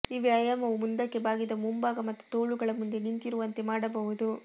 ಈ ವ್ಯಾಯಾಮವು ಮುಂದಕ್ಕೆ ಬಾಗಿದ ಮುಂಭಾಗ ಮತ್ತು ತೋಳುಗಳ ಮುಂದೆ ನಿಂತಿರುವಂತೆ ಮಾಡಬಹುದು